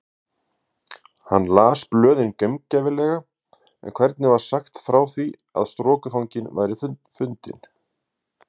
Hann las blöðin gaumgæfilega en hvergi var sagt frá því að strokufanginn væri fundinn.